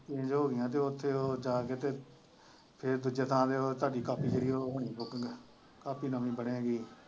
change ਹੋ ਗਈਆਂ ਤੇ ਉੱਥੇ ਉਹ ਜਾ ਕੇ ਤੇ ਉਹ ਸਾਡੀ ਕਾਪੀ ਕਿਹੜੀ ਹੈ ਉਹ ਸਾਨੂੰ ਪੁੱਛਣ ਦੀ ਕਾਪੀ ਨਵੀਂ ਬਣੇਗੀ।